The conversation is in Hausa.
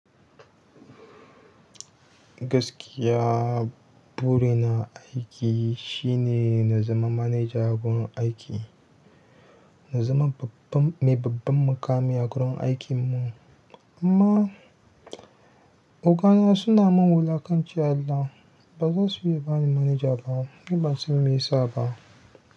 Gaskiya, burina aiki shine na zama manaja gun aiki, na zama babban, mai babban mukami a gurin aikin mu. Amma ogana suna min wulakanci Allah, ba zai so ya bani manaja ba. Ni ban san me yasa ba.